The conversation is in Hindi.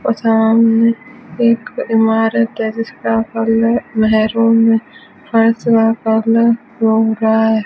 बहुत सारा इनमें एक इमारत है जिसका कलर मैरून फर्श का कलर है।